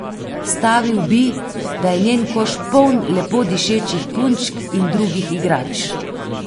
Stavil bi, da je njen koš poln lepo dišečih punčk in drugih igrač.